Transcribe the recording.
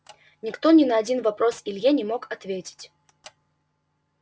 никто ни на один вопрос илье не мог ответить